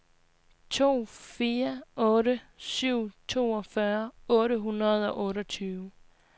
to fire otte syv toogfyrre otte hundrede og otteogtyve